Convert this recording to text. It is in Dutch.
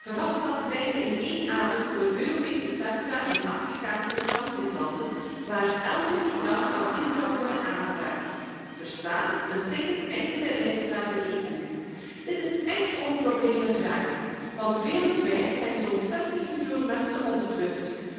Verhofstadt pleitte in één adem voor Europese centra in Afrikaanse transitlanden, waar elke migrant asiel zou kunnen aanvragen, lees een ticket enkele reis naar de EU. Dit is echt om problemen vragen, want wereldwijd zijn er zo'n 60 miljoen mensen op de vlucht.